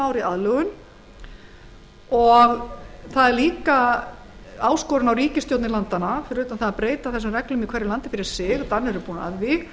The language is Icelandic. e s löndin að taka inn sömu reglur fyrir utan að breyta þessum reglum í hverju landi fyrir sig danir